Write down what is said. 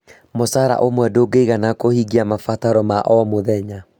Mũcara ũmwe ndũigana kũhingia mabataro ma o mũthenya